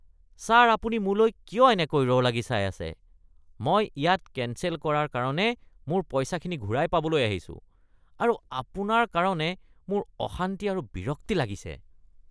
Sir আপুনি মোলৈ কিয় এনেকৈ ৰ লাগি চাই আছে? মই ইয়াত কেঞ্চেল কৰাৰ কাৰণে মোৰ পইচাখিনি ঘূৰাই পাবলৈ আহিছো আৰু আপোনাৰ কাৰণে মোৰ অশান্তি আৰু বিৰক্তি লাগিছে।